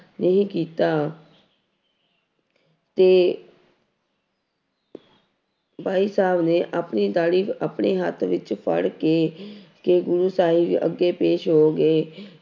ਨਹੀਂ ਕੀਤਾ ਤੇੇ ਭਾਈ ਸਾਹਿਬ ਨੇ ਆਪਣੀ ਦਾੜੀ ਆਪਣੇ ਹੱਥ ਵਿੱਚ ਫੜ ਕੇ ਕੇ ਗੁਰੂ ਸਾਹਿਬ ਅੱਗੇ ਪੇਸ ਹੋ ਗਏ।